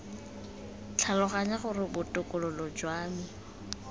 tlhaloganya gore botokololo jwa me